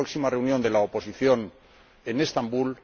la próxima reunión de la oposición en Estambul